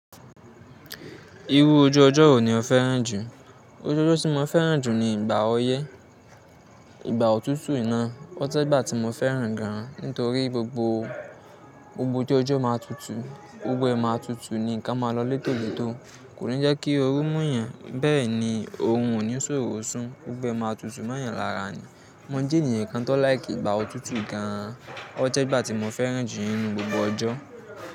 Irú ojú ọjọ́ wo ni o fẹ́ràn jù? Ojú ọjọ́ tí mo fẹ́ràn jù ni ìgbà ọyẹ́. Ìgbà òtútù iná. O jẹ́ ìgbà tí mo fẹ́ràn gan an. Nítorí gbogbo, gbogbo ọju ojo máa tutù, gbogbo ẹ má ń tutù ni nǹkan máa lọ létòletò. Kò ní jẹ́ kí oru mú yan, bẹ́ẹ̀ ni, orun ò ní ṣòro sún. Gbogbo ẹ máa tutù mo yan lára ni. Mo jẹ́ ènìyàn kan tó like ìgbà òtútù gan an. O jẹ́ ìgbà tí mo fẹ́ràn jù nínú gbogbo ọjọ́.